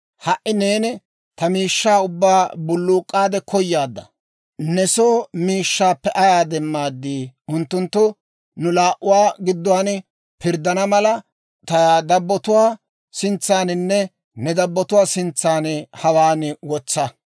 Ha"i neeni ta miishshaa ubbaa bulluk'k'aadde koyaadda; ne soo miishshaappe ayaa demmaad? Unttunttu nu laa"uwaa gidduwaan pirddana mala, ta dabbatuwaa sintsaaninne ne dabbatuwaa sintsaan hawaan wotsa.